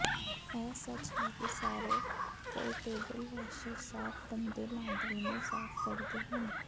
ਇਹ ਸੱਚ ਹੈ ਕਿ ਸਾਰੇ ਪੋਰਟੇਬਲ ਵਾਸ਼ਰ ਸਾਫ਼ ਗੰਦੇ ਲਾਂਡਰੀ ਨੂੰ ਸਾਫ਼ ਕਰਦੇ ਹਨ